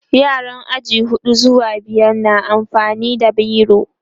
yaran aji huɗu zuwa biyar na amfani da biro